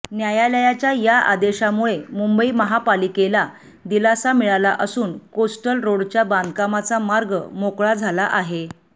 न्यायालयाच्या या आदेशामुळे मुंबई महापालिकेला दिलासा मिळाला असून कोस्टल रोडच्या बांधकामाचा मार्ग मोकळा झाला आहे